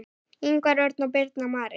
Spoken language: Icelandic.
Ingvar Örn og Birna Marín.